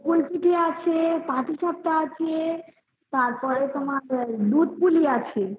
গোকুল পিঠে আছে পাটিসাপ্টা আছে তারপরে তোমার দুধপুলি আছে